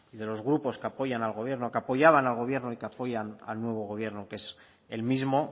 de los grupos que apoyan al gobierno que apoyaban al gobierno y que apoyan al nuevo gobierno que es el mismo